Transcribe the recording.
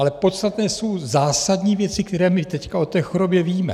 Ale podstatné jsou zásadní věci, které my teď o té chorobě víme.